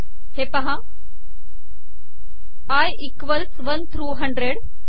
हे पहा i equals one through hundred